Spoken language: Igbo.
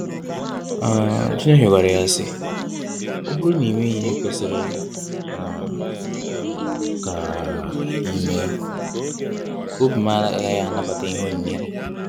um Chineke gwara ya sị, Ọ bụrụ na imeghi ihē kwesiri um ka um ímeē, obim agaghị anabata ihē onyinyé gị.